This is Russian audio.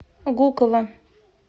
гуково